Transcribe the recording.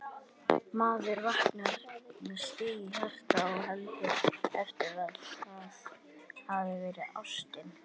Maður vaknar með sting í hjarta og heldur eftir á að það hafi verið ástin